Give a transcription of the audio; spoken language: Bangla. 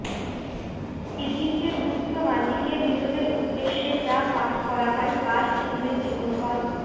ইজিপ্টের গুপ্ত মাজিকে মৃতদের উদ্দেশে যা পাঠ করা হয় তার ইংরেজি অনুবাদ